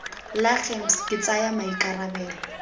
la gems ke tsaya maikarabelo